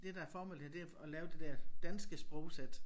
Det der formålet her det at lave det der danske sprogsæt